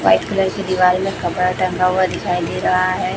White colour की दीवाल में कपड़ा टंगा हुआ दिखाई दे रहा है।